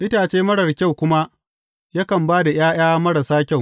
Itace marar kyau kuma, yakan ba da ’ya’ya marasa kyau.